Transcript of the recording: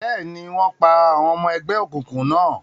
Bẹ́ẹ̀ni, wọ́n pa àwọn ọmọ ẹgbẹ́ òkùnkùn náà.